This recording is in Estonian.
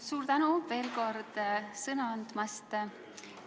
Suur tänu veel kord sõna andmast!